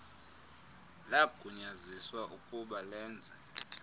lagunyaziswa ukub alenze